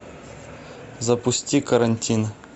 запусти карантин